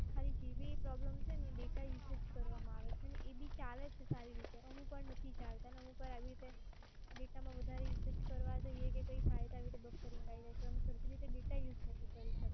ખાલી GBproblem છે એ data usage કરવામાં આવે છે અને એ બી ચાલે છે સારી રીતે. અમુકવાર નથી ચાલતાં અને અમુકવાર આવી રીતે data માં વધારે usage કરવા જોઈએ કે કઈ થાય તો આવી રીતે buffering આવી જાય છે. એટલે સરખી રીતે data use નથી કરી શકતા.